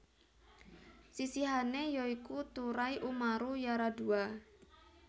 Sisihane ya iku Turai Umaru Yaradua